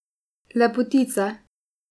Lepotica.